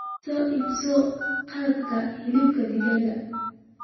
Soo iibso qalabka hilibka digaaga.